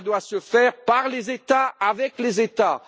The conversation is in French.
Cela doit se faire par les États et avec les États